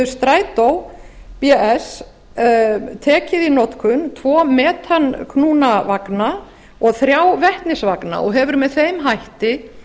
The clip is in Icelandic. strætó bs tekið í notkun tvo metanknúna vagna og þrjá vetnisvagna og hefur með þeim hætti